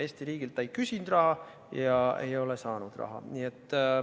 Eesti riigilt ta ei küsinud raha ja ei ole saanud raha.